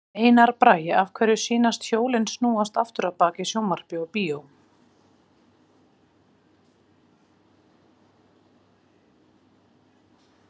Einar Bragi: Af hverju sýnast hjólin snúast aftur á bak í sjónvarpi og bíó?